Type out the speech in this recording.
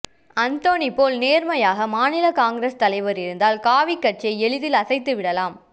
அந்தோணி போல் நேர்மையான மாநில காங்கிரஸ் தலைவர்கள் இருந்தால் காவிகாட்சியை எளிதில் அசைத்துவிடலாம்